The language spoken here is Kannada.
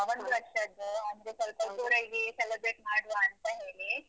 ಆ, ಒಂದು ವರ್ಷದ್ದು ಅಂದ್ರೆ ಸ್ವಲ್ಪ ಜೋರಾಗಿ celebrate ಮಾಡುವಾಂತ ಹೇಳಿ.